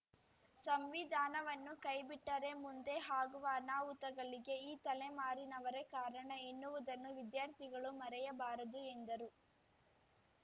ಸಂವಿಧಾನವನ್ನು ಕೈಬಿಟ್ಟರೆ ಮುಂದೆ ಆಗುವ ಅನಾಹುತಗಳಿಗೆ ಈ ತಲೆಮಾರಿನವರೆ ಕಾರಣ ಎನ್ನುವುದನ್ನು ವಿದ್ಯಾರ್ಥಿಗಳು ಮರೆಯಬಾರದು ಎಂದರು